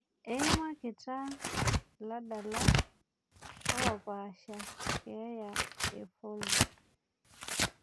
Eimakita iladalak k opaasha keeya e floyd